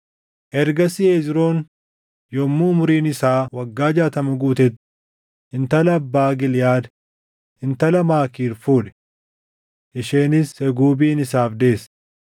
Ergasii Hezroon yommuu umuriin isaa waggaa jaatama guutetti intala abbaa Giliʼaad intala Maakiir fuudhe; isheenis Seguubin isaaf deesse.